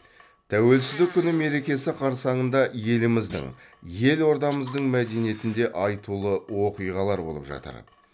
тәуелсіздік күні мерекесі қарсаңында еліміздің елордамыздың мәдениетінде аитулы оқиғалар болып жатыр